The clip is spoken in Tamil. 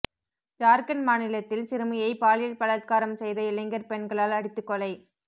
ஜார்க்கண்ட் மாநிலத்தில் சிறுமியை பாலியல் பலாத்காரம் செய்த இளைஞர் பெண்களால் அடித்துக் கொலை